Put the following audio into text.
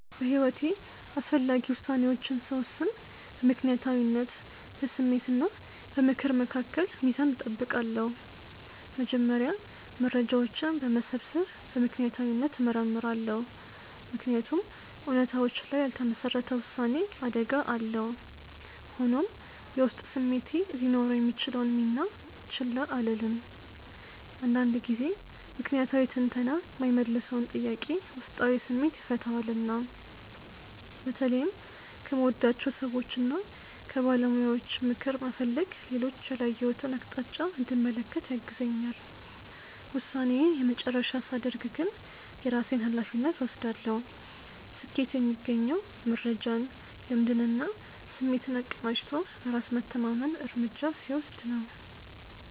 በሕይወቴ አስፈላጊ ውሳኔዎችን ስወስን በምክንያታዊነት፣ በስሜት እና በምክር መካከል ሚዛን እጠብቃለሁ። መጀመሪያ መረጃዎችን በመሰብሰብ በምክንያታዊነት እመረምራለሁ፤ ምክንያቱም እውነታዎች ላይ ያልተመሰረተ ውሳኔ አደጋ አለው። ሆኖም፣ የውስጥ ስሜቴ ሊኖረው የሚችለውን ሚና ችላ አልልም፤ አንዳንድ ጊዜ ምክንያታዊ ትንተና የማይመልሰውን ጥያቄ ውስጣዊ ስሜቴ ይፈታዋልና። በተለይም ከምወዳቸው ሰዎችና ከባለሙያዎች ምክር መፈለግ ሌሎች ያላየሁትን አቅጣጫ እንድመለከት ያግዘኛል። ውሳኔዬን የመጨረሻ ሳደርግ ግን የራሴን ሃላፊነት እወስዳለሁ። ስኬት የሚገኘው መረጃን፣ ልምድንና ስሜትን አቀናጅቶ በራስ መተማመን እርምጃ ሲወስድ ነው።